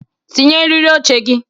Tinye eriri oche gị!